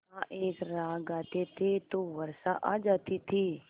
का एक राग गाते थे तो वर्षा आ जाती थी